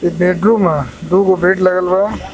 ई बेडरूम ह दू गो बेड लगल बा.